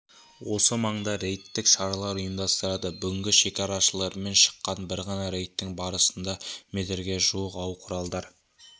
осы маңда рейдтік шаралар ұйымдастырады бүгінгі шекарашылармен шыққан бір ғана рейдтің барысында метрге жуық ау-құралдар